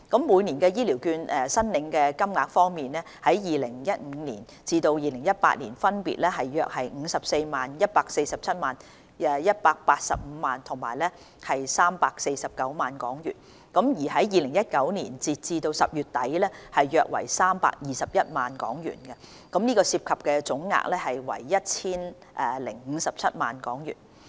每年的醫療券申領金額方面 ，2015 年至2018年分別約為54萬港元、147萬港元、185萬港元及349萬港元，而2019年截至10月底約為321萬港元，涉及總金額約為 1,057 萬港元。